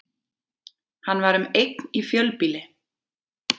Hann var um eign í fjölbýli